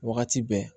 Wagati bɛɛ